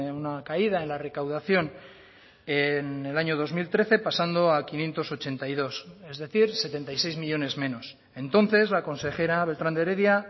una caída en la recaudación en el año dos mil trece pasando a quinientos ochenta y dos es decir setenta y seis millónes menos entonces la consejera beltrán de heredia